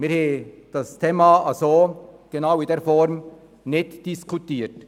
Wir haben das Thema in dieser Form nicht diskutiert.